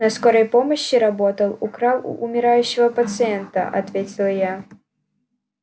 на скорой помощи работал украл у умирающего пациента ответил я